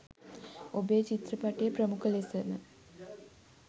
ඔබේ චිත්‍රපටය ප්‍රමුඛ ලෙසම